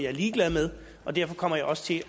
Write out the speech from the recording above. er ligeglad med og derfor kommer jeg også til